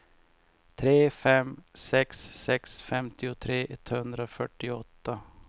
tre fem sex sex femtiotre etthundrafyrtioåtta